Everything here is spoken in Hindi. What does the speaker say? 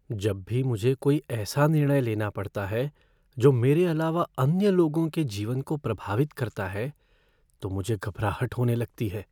जब भी मुझे कोई ऐसा निर्णय लेना पड़ता है जो मेरे अलावा अन्य लोगों के जीवन को प्रभावित करता है तो मुझे घबराहट होने लगती है।